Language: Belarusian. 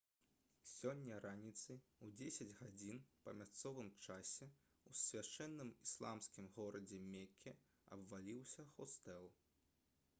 сёння раніцай у 10 гадзін па мясцовым часе ў свяшчэнным ісламскім горадзе мекке абваліўся хостэл